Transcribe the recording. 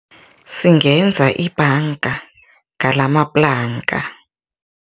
Singenza ibhanga ngalamaplanka.